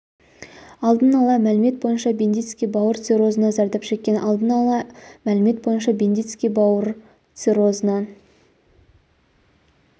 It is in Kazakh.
алдын ала мәлімет бойынша бендицкий бауыр циррозынан зардап шеккен алдын ала мәлімет бойынша бендицкий бауыр циррозынан